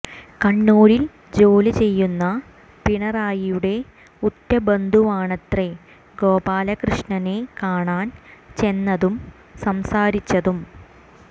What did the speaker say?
കണ്ണൂരിൽ ജോലി ചെയ്യുന്ന പിണറായിയുടെ ഉറ്റ ബന്ധുവാണത്രേ ഗോപാലകൃഷ്ണനെ കാണാൻ ചെന്നതും സംസാരിച്ചതും